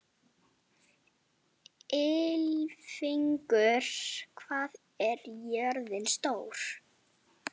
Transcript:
Ylfingur, hvað er jörðin stór?